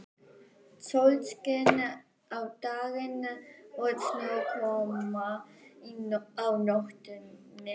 Sólskin á daginn og snjókoma á nóttunni.